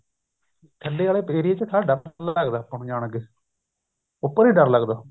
ਥੱਲੇ ਆਲੇ area ਚ ਥੋੜਾ ਡਰ ਲੱਗਦਾ ਆਪਾਂ ਨੂੰ ਜਾਣ ਲੱਗੇ ਉੱਪਰ ਨੀ ਡਰ ਲੱਗਦਾ